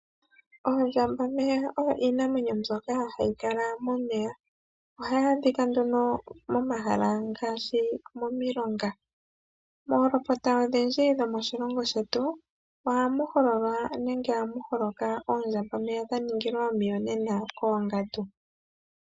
Oondjambameya odho iinamwenyo mbyoka hayi kala momeya, ohayi a dhika momahala ngaashi momilonga. Moolopota odhindji dhomoshilongo shetu ohamu hololwa nenge ohamu holoka oondjambameya dha ningilwa omiyonena koongandu.